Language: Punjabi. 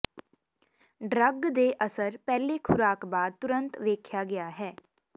ਡਰੱਗ ਦੇ ਅਸਰ ਪਹਿਲੇ ਖ਼ੁਰਾਕ ਬਾਅਦ ਤੁਰੰਤ ਦੇਖਿਆ ਗਿਆ ਹੈ